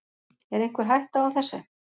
Er einhver hætta á þessu?